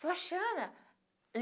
Sebastiana